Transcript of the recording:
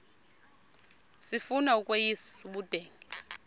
sifuna ukweyis ubudenge